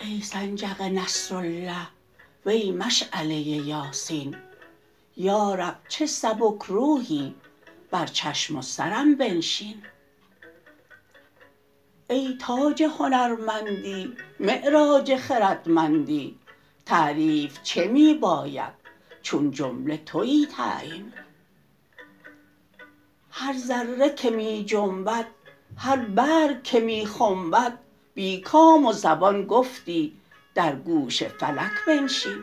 ای سنجق نصرالله وی مشعله یاسین یا رب چه سبک روحی بر چشم و سرم بنشین ای تاج هنرمندی معراج خردمندی تعریف چه می باید چون جمله توی تعیین هر ذره که می جنبد هر برگ که می خنبد بی کام و زبان گفتی در گوش فلک بنشین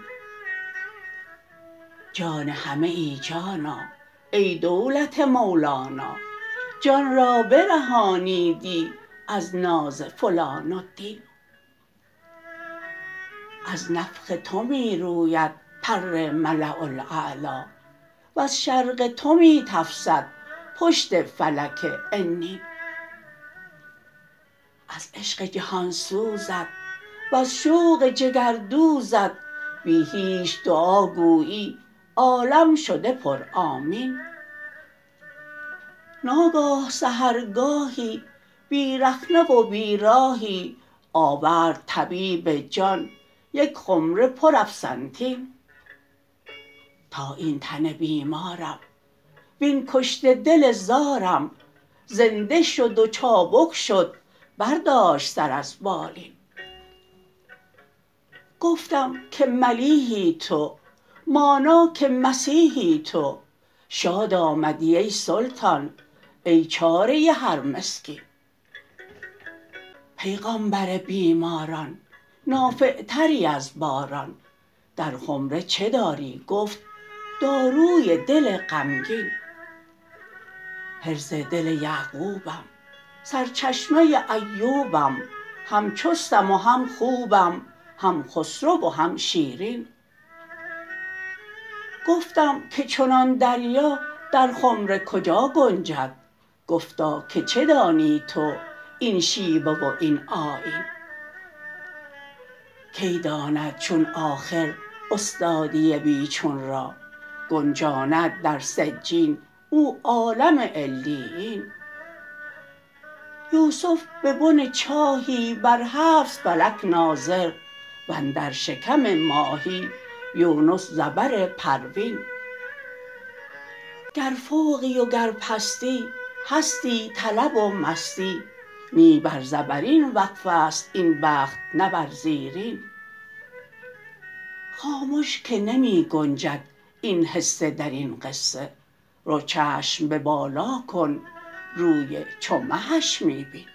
جان همه جانا ای دولت مولانا جان را برهانیدی از ناز فلان الدین از نفخ تو می روید پر ملاء الاعلی وز شرق تو می تفسد پشت فلک عنین از عشق جهان سوزت وز شوق جگردوزت بی هیچ دعاگویی عالم شده پرآمین ناگاه سحرگاهی بی رخنه و بیراهی آورد طبیب جان یک خمره پرافسنتین تا این تن بیمارم وین کشته دل زارم زنده شد و چابک شد برداشت سر از بالین گفتم که ملیحی تو مانا که مسیحی تو شاد آمدی ای سلطان ای چاره هر مسکین پیغامبر بیماران نافعتری از باران در خمره چه داری گفت داروی دل غمگین حرز دل یعقوبم سرچشمه ایوبم هم چستم و هم خوبم هم خسرو و هم شیرین گفتم که چنان دریا در خمره کجا گنجد گفتا که چه دانی تو این شیوه و این آیین کی داند چون آخر استادی بی چون را گنجاند در سجین او عالم علیین یوسف به بن چاهی بر هفت فلک ناظر و اندر شکم ماهی یونس ز بر پروین گر فوقی وگر پستی هستی طلب و مستی نی بر زبرین وقف است این بخت نه بر زیرین خامش که نمی گنجد این حصه در این قصه رو چشم به بالا کن روی چو مهش می بین